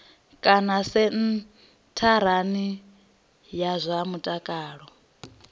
kana sentharani ya zwa mutakalo